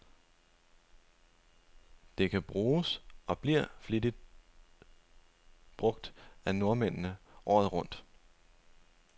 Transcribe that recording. Det kan bruges, og bliver flittigt brug af nordmændene, året rundt.